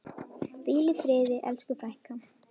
Hvíl í friði elsku frænka.